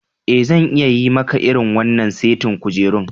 Eh, zan iya yi maka irin wannan saitin kujerun.